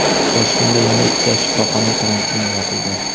Toshkentda yana ikkita shifoxona karantinga yopildi.